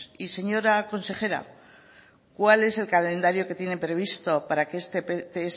y señora consejera cuál es el calendario que tienen previsto para que este pts